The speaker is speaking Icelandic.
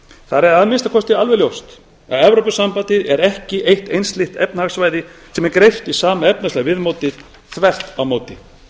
er að minnsta kosti alveg ljóst að evrópusambandið er ekki eitt einsleitt efnahagssvæði sem er greypt í sama efnahagslega mótið þvert á móti e